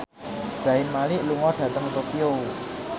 Zayn Malik lunga dhateng Tokyo